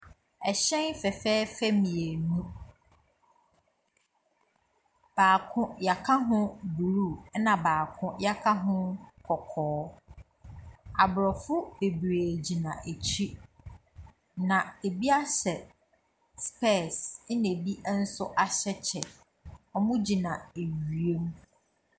Ɛhyɛn fɛfɛɛfɛ mmienu, baako wɔaka ho blue, ɛnna baako wɔaka ho kɔkɔɔ. Aborɔfo bebree gyina akyi, na ebi ahyɛ specs, ɛnna ebi nso ahyɛ kyɛ. Wɔgyina awiam.